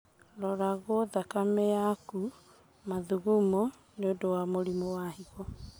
Roragwo thakame yaku na mathugumo nĩũndũ wa mũrimũ wa higo